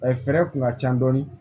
A ye fɛɛrɛ kun ka ca dɔɔni